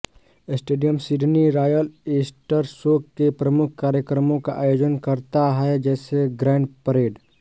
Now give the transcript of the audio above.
stadium Sydney royal Easter show के प्रमुख कार्यक्रमों का आयोजन करता है जैसे ग्रैंड परेड